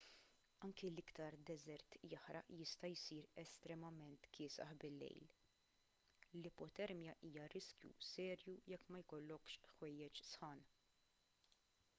anki l-iktar deżert jaħraq jista' jsir estremament kiesaħ bil-lejl l-ipotermja hija riskju serju jekk ma jkollokx ħwejjeġ sħan